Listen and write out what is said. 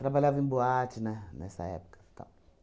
Trabalhava em boate ne nessa época tal